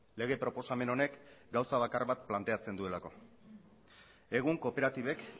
lege proposamen honek gauza bakar bat planteatzen duelako egun kooperatibek